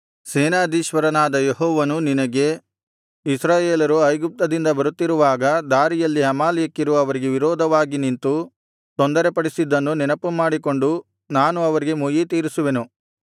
ಸೇನಾಧೀಶ್ವರನಾದ ಯೆಹೋವನು ನಿನಗೆ ಇಸ್ರಾಯೇಲರು ಐಗುಪ್ತದಿಂದ ಬರುತ್ತಿರುವಾಗ ದಾರಿಯಲ್ಲಿ ಅಮಾಲೇಕ್ಯರು ಅವರಿಗೆ ವಿರೋಧವಾಗಿ ನಿಂತು ತೊಂದರೆಪಡಿಸಿದ್ದನ್ನು ನೆನಪುಮಾಡಿಕೊಂಡು ನಾನು ಅವರಿಗೆ ಮುಯ್ಯಿತೀರಿಸುವೆನು